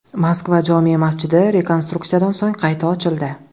Moskva jome’ masjidi rekonstruksiyadan so‘ng qayta ochildi.